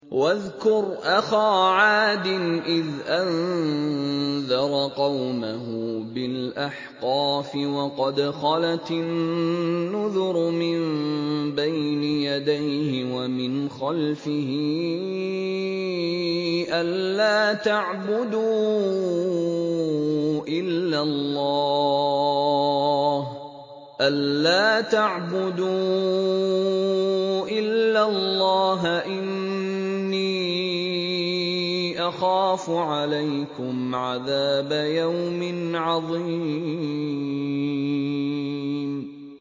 ۞ وَاذْكُرْ أَخَا عَادٍ إِذْ أَنذَرَ قَوْمَهُ بِالْأَحْقَافِ وَقَدْ خَلَتِ النُّذُرُ مِن بَيْنِ يَدَيْهِ وَمِنْ خَلْفِهِ أَلَّا تَعْبُدُوا إِلَّا اللَّهَ إِنِّي أَخَافُ عَلَيْكُمْ عَذَابَ يَوْمٍ عَظِيمٍ